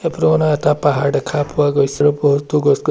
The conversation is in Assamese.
ফটো খনত এটা পাহাৰ দেখা পোৱা গৈছে আৰু বহুতো গছ-গছনি